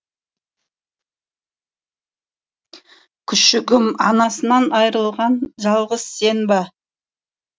күшігім анасынан айырылған жалғыз сен бе